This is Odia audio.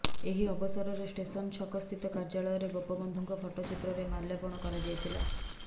ଏହି ଅବସରରେ ଷ୍ଟେସନ ଛକସ୍ଥିତ କାର୍ଯ୍ୟାଳୟରେ ଗୋପବନ୍ଧୁଙ୍କ ଫଟୋଚିତ୍ରରେ ମାଲ୍ୟାର୍ପଣ କରାଯାଇଥିଲା